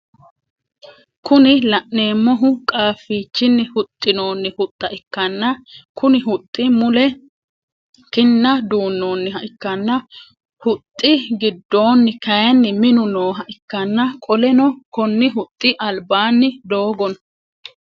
Kuni laneemohu qaaffichini huxinoonni huxxa ikkanna Konni huxxi mule kinna duunooniha ikkanna huxxi gidoonni kaayiinni Minu nooha ikkana qoleno Konni huxxi albaanni doogo no